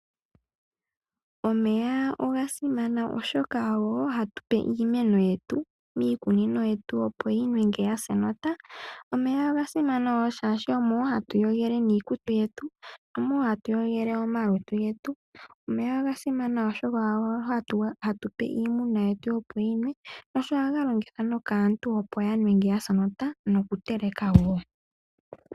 Omeya oga simana oshoka ohatu ga longitha mokutekela iimeno miikununo yetu uuna ngele yasa enota. Omeya oga simana woo shaashi ohaga yogithwa iizalomwa yetu, ohaga iyogithwa. Omeya oga simana oshoka ohaga nuwa kiimuna yetu noshowoo okunuwa kaantu uuna yasa enota.